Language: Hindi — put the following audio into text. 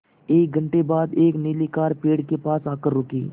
एक घण्टे बाद एक नीली कार पेड़ के पास आकर रुकी